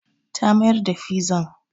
Ta mayar da fizan.